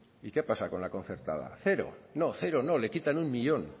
y qué pasa con la concertada cero no cero no le quita uno millón